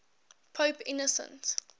pope innocent